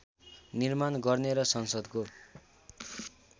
निर्माण गर्ने र संसदको